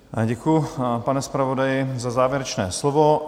Děkuji, pane zpravodaji, za závěrečné slovo.